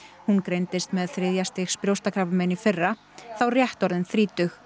hún greindist með þriðja stigs brjóstakrabbamein í fyrra þá rétt orðin þrítug